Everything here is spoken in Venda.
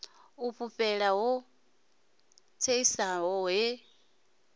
o fhufhela ho tsesaho he